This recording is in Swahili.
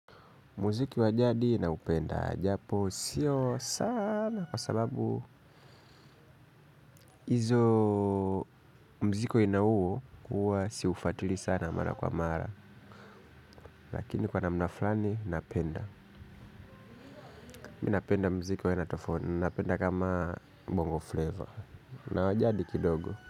Muziki wa jadi naupenda japo siyo sana kwa sababu izo mziki wa aina uo uwa siufatili sana mara kwa mara lakini kwa namna fulani napenda Mi napenda mziki wa aina tofauti ninapenda kama bongo flavor. Na wa jadi kidogo.